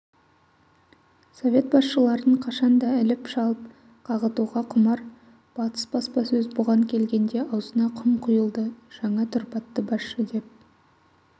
совет басшыларын қашан да іліп-шалып қағытуға құмар батыс баспасөз бұған келгенде аузына құм құйылды жаңа тұрпатты басшы деп